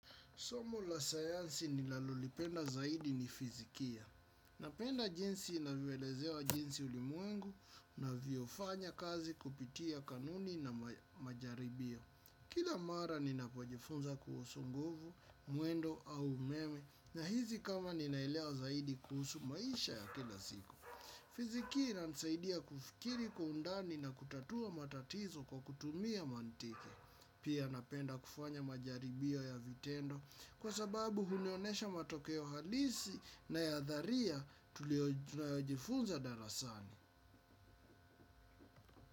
Somo la sayansi ninalolipenda zaidi ni fizikia. Napenda jinsi inavyoelezewa jinsi ulimwengu inavyofanya kazi kupitia kanuni na majaribio. Kila mara ninapojifunza kuhusu nguvu, mwendo au umeme nahisi kama ninaelewa zaidi kuhusu maisha ya kila siku. Fizikia inanisaidia kufikiri kwa undani na kutatua matatizo kwa kutumia mantiki. Pia napenda kufanya majaribio ya vitendo kwa sababu hunionyesha matokeo halisi na ya dharia tuliojifunza darasani.